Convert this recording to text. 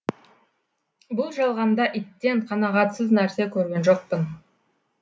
бұл жалғанда иттен қанағатсыз нәрсе көрген жоқпын